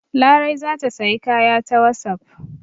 Larai za ta sayi kaya ta wasapp.